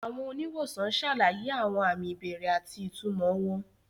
Àwọn oníwòsàn ṣàlàyé àwọn àmì ìbẹ̀rẹ̀ àti ìtumọ̀ wọn.